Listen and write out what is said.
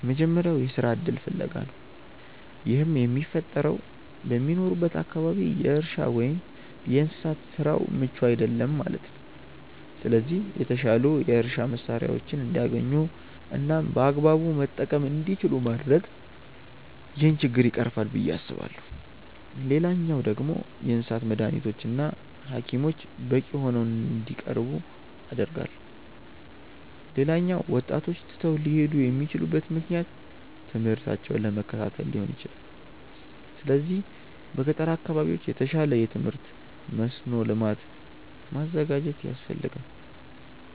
የመጀመሪያው የስራ እድል ፍለጋ ነው። ይህም የሚፈጠረው በሚኖሩበት አካባቢ የእርሻ ወይም የእንስሳት ስራው ምቹ አይደለም ማለት ነው። ስለዚህ የተሻሉ የእርሻ መሳሪያዎችን እንዲያገኙ እናም በአግባቡ መጠቀም እንዲችሉ ማድረግ ይህንን ችግር ይቀርፋል ብዬ አስባለሁ። ሌላኛው ደግሞ የእንስሳት መዳኒቶች እና ሀኪሞች በቂ ሆነው እንዲቀርቡ አደርጋለሁ። ሌላኛው ወጣቶች ትተው ሊሄዱ የሚችሉበት ምክንያት ትምህርታቸውን ለመከታተል ሊሆን ይችላል። ስለዚህ በገጠር አካባቢዎች የተሻለ የትምህርት መስኖ ልማት ማዘጋጀት ያስፈልጋል።